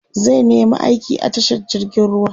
zai nema aiki a tashar jirgin ruwa